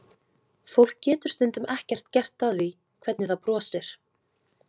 Fólk getur stundum ekkert gert að því hvernig það brosir.